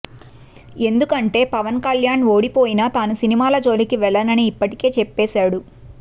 ఎందుకంటే పవన్ కళ్యాణ్ ఓడిపోయినా తాను సినిమాల జోలికి వెళ్ళనని ఇప్పటికే చెప్పెసాడు